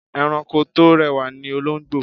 Ẹranko tó rẹwà ni olóńgbò.